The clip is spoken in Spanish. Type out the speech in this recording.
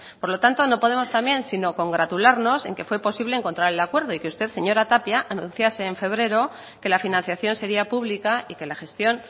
por lo tanto no podemos también sino congratularnos en que fue posible encontrar el acuerdo y que usted señora tapia anunciase en febrero que la financiación sería pública y que la gestión